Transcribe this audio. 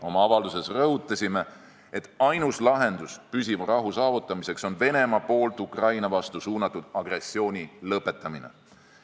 Oma avalduses rõhutasime, et ainus lahendus püsiva rahu saavutamiseks on Venemaa poolt Ukraina vastu suunatud agressiooni lõpetamine.